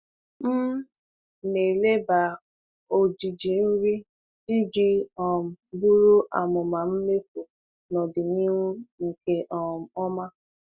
M na-eleba ojiji nri iji um buru amụma mmefu n'ọdịnihu nke um ọma.